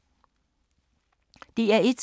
DR1